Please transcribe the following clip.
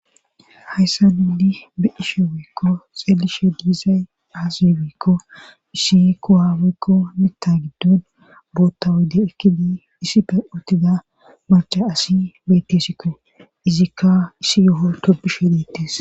hayssa nuni be'ishe wiikko xeelishe diizay aaz wiikko isikko haawaykko mita giddon bootta woyde ekkidi isi pe untida marcha asi bettesikko izikka isi yo7o tobishe deettes